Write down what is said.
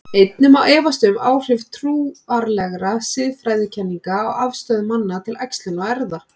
Einnig má efast um áhrif trúarlegra siðfræðikenninga á afstöðu manna til æxlunar og erfða.